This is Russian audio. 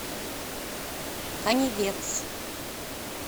канивец